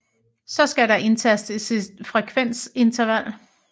Så skal der indtastes et frekvensinterval